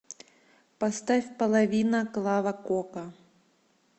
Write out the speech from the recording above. поставь половина клава кока